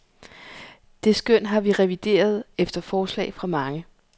Det skøn har vi revideret, efter forslag fra mange.